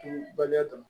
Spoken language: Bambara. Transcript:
Kunba dɔ ye